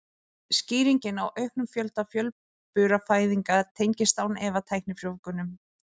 Skýringin á auknum fjölda fjölburafæðinga tengist án efa tæknifrjóvgunum.